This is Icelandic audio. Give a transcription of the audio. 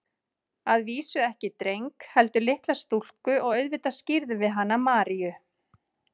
Að vísu ekki dreng, heldur litla stúlku og auðvitað skírðum við hana Maríu.